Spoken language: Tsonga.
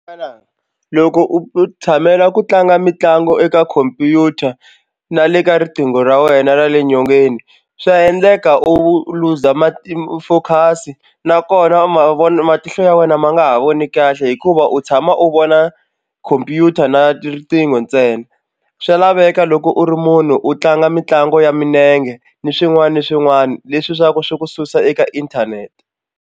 loko u tshamela ku tlanga mitlangu eka khompyuta na le ka riqingho ra wena ra le nyongeni swa endleka u luza ma ti-focus nakona ma vona matihlo ya wena ma nga ha voni kahle hikuva u tshama u vona khompyuta na riqingho ntsena swa laveka loko u ri munhu u tlanga mitlangu ya milenge ni swin'wana ni swin'wana leswi swa ku swi ku susa eka inthanete.